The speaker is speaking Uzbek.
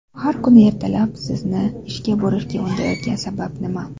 Har kuni ertalab sizni ishga borishga undaydigan sabab nima?